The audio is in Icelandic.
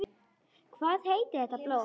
Hvað heitir þetta blóm?